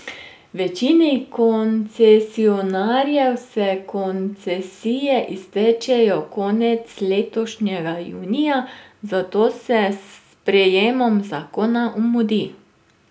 Večini koncesionarjev se koncesije iztečejo konec letošnjega junija, zato se s sprejemom zakona mudi.